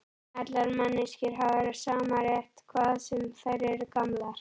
Allar manneskjur hafa sama rétt, hvað sem þær eru gamlar.